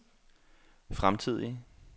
fremtidige